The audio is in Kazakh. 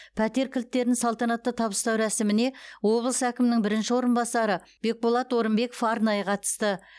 пәтер кілттерін салтанатты табыстау рәсіміне облыс әкімінің бірінші орынбасары бекболат орынбеков арнайы қатысты